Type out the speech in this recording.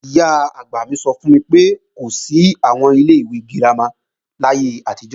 Ìyá-àgbà mi sọ fún mi pé, kò sí àwọn ilé ìwé girama láyé àtijọ́